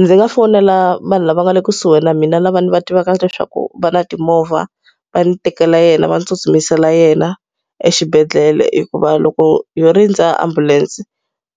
Ndzi nga fonela vanhu lava nga le kusuhi na mina lava ni va tivaka leswaku va na timovha, va ni tekela yena va tsutsumisela yena exibedhlele. Hikuva loko ho rindza ambulance,